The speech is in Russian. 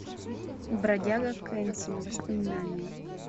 бродяга кэнсин воспоминания